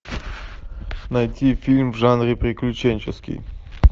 найти фильм в жанре приключенческий